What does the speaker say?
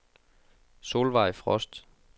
Solvejg Frost